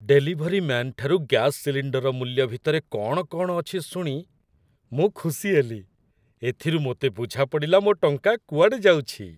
Delivery ମ୍ୟାନ୍‌ଠାରୁ gas ସିଲିଣ୍ଡରର ମୂଲ୍ୟ ଭିତରେ କ'ଣ କ'ଣ ଅଛି ଶୁଣି ମୁଁ ଖୁସି ହେଲି। ଏଥିରୁ ମୋତେ ବୁଝାପଡ଼ିଲା ମୋ ଟଙ୍କା କୁଆଡ଼େ ଯାଉଛି ।